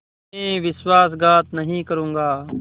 मैं विश्वासघात नहीं करूँगा